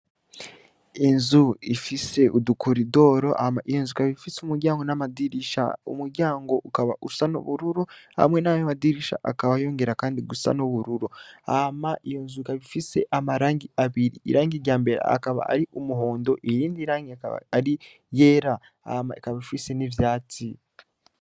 Inzu ifise udukoridoro ikaba ifise umuryango namadirisha umuryango ukaba usa nubururu hamwe nayo madirisha akaba yongera kandi asa nubururu hama iyonzu ikaba ifise amarangi abiri irangi ryambere akaba ari iyumuhondo irindi rangi aka ari iyera hama ikaba ifise niryatsi